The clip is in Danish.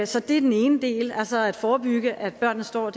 så det er den ene del altså at forebygge at børnene står